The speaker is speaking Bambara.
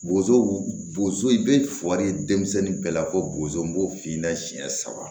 Bozo bozo i bɛ fuɔri ye denmisɛnnin bɛɛ la ko bozo n b'o f'i da siɲɛ saba